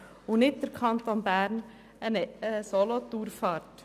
Wir finden es nicht gut, dass der Kanton Bern im Alleingang agiert.